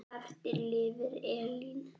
Eftir lifir Elín.